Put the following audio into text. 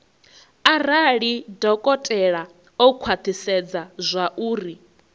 arali dokotela o khwathisedza zwauri